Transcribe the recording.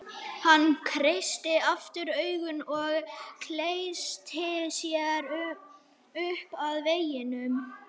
Hann kreisti aftur augun og klessti sér upp að veggnum.